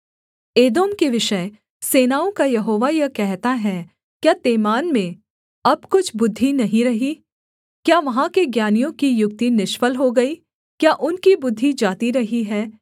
एदोम के विषय सेनाओं का यहोवा यह कहता है क्या तेमान में अब कुछ बुद्धि नहीं रही क्या वहाँ के ज्ञानियों की युक्ति निष्फल हो गई क्या उनकी बुद्धि जाती रही है